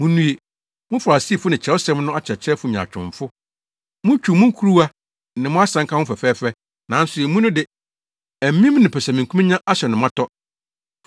“Munnue! Mo Farisifo ne Kyerɛwsɛm no akyerɛkyerɛfo nyaatwomfo! Mutwiw mo kuruwa ne mo asanka ho fɛfɛɛfɛ nanso emu no de, amim ne pɛsɛmenkominya ahyɛ no ma tɔ.